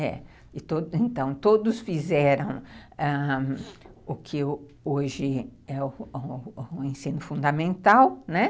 É, então, todos fizeram ãh o que eu hoje é o ensino fundamental, né?